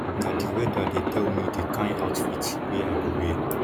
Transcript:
na di weather dey tell me di kain outfit wey i go wear